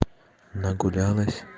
нагулялась